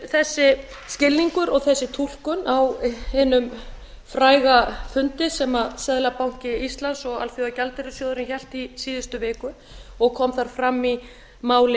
þessi skilningur og þessi túlkun var staðfest á hinum fræga fundi sem seðlabanki íslands og alþjóðagjaldeyrissjóðurinn héldu í síðustu viku og kom þar fram í máli